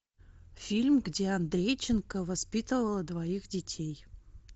фильм где андрейченко воспитывала двоих детей